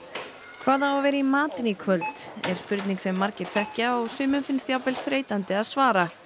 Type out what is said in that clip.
hvað á að vera í matinn í kvöld er spurning sem margir þekkja og sumum finnst jafnvel þreytandi að svara